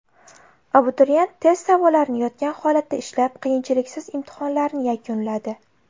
Abituriyent test savollarini yotgan holatda ishlab, qiyinchiliksiz imtihonlarni yakunladi.